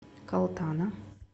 калтана